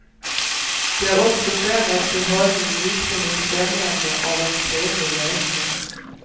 De har också förändrat sin hållning i riktning mot främjande av en fredlig lösning.